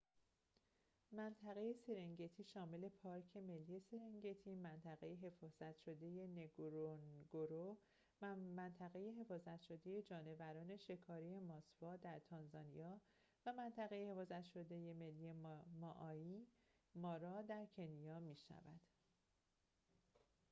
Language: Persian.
منطقه سرنگتی شامل پارک ملی سرنگتی منطقه حفاظت شده نگورونگورو و منطقه حفاظت شده جانوران شکاری ماسوا در تانزانیا و منطقه حفاظت شده ملی مائایی مارا در کنیا می‌شود